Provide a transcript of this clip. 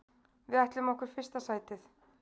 Við ætlum okkur fyrsta sætið.